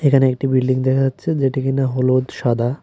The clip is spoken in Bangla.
এখানে একটি বিল্ডিং দেখা যাচ্ছে যেটি কি না হলুদ সাদা।